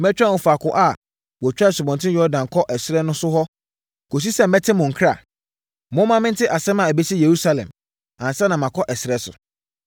Mɛtwɛn wɔ faako a wɔtwa Asubɔnten Yordan kɔ ɛserɛ no so hɔ kɔsi sɛ mɛte mo nkra. Momma mente asɛm a ɛbɛsi Yerusalem, ansa na makɔ ɛserɛ so.”